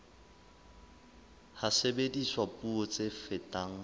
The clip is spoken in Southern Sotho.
ha sebediswa puo tse fetang